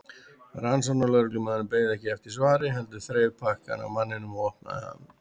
Rannsóknarlögreglumaðurinn beið ekki eftir svari heldur þreif pakkann af manninum og opnaði hann.